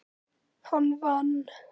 Hann vann.